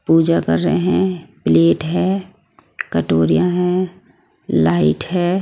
पूजा कर रहे हैं प्लेट है कटोरिया हैं लाइट है।